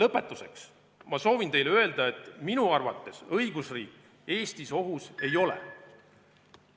Lõpetuseks soovin teile öelda, et minu arvates õigusriik Eestis ohus ei ole.